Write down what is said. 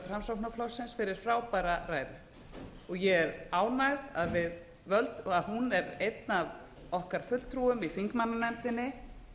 framsóknarflokksins fyrir frábæra ræðu ég er ánægð að hún er einn af okkar fulltrúum í þingmannanefndinni